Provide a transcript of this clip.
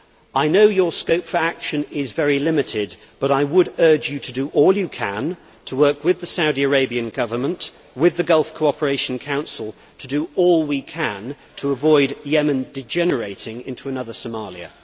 I know your scope for action is very limited, but I would urge you to do all you can to work with the Saudi Arabian Government and with the Gulf Cooperation Council to do all we can to avoid Yemen degenerating into another Somalia.